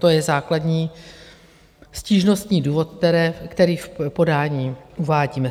To je základní stížnostní důvod, který v podání uvádíme.